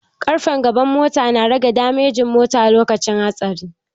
Ƙarfen gaban mota na rage damejin mota lokacin hatsari